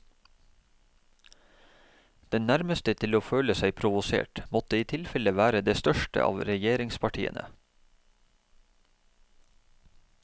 Den nærmeste til å føle seg provosert måtte i tilfelle være det største av regjeringspartiene.